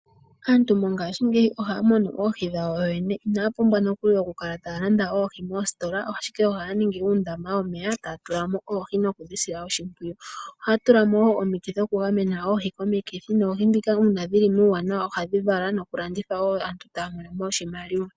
Aantu mongashingeyi ohaya munu oohi kuyoyene, inaya pumbwa nokuli okukala taya landa oohi moositola. Ashike ohaya ningi uundama womeya taya tula mo oohi, no ku dhi sila oshimpwiyu. Ohaya tula mo wo omiti dho ku gamena oohi komikithi, noohi dhika uuna dhi li muuwanawa ohadhi vala nokulandithwa wo. Aantu taya mono mo oshimaliwa.